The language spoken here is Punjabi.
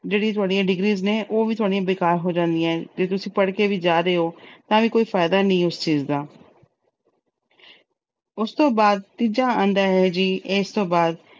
ਜਿਹੜੀਆਂ ਤੁਹਾਡੀਆਂ degrees ਨੇ, ਉਹ ਵੀ ਤੁਹਾਡੀਆਂ ਬੇਕਾਰ ਹੋ ਜਾਂਦੀਆਂ। ਜੇ ਤੁਸੀਂ ਪੜ੍ਹ ਕੇ ਵੀ ਜਾ ਰਹੇ ਓ, ਤਾਂ ਵੀ ਕੋਈ ਫਾਇਦਾ ਨੀ ਉਸ ਚੀਜ ਦਾ। ਉਸ ਤੋਂ ਬਾਅਦ ਤੀਜਾ ਆਉਂਦਾ ਹੈ ਜੀ, ਇਸ ਤੋਂ ਬਾਅਦ